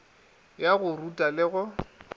ya go ruta le go